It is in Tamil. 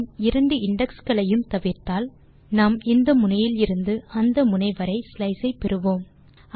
நாம் இரண்டு இண்டெக்ஸ் களையும் தவிர்த்தால் நாம் இந்த முனையிலிருந்து அந்த முனை வரை ஸ்லைஸ் ஐ பெறுவோம்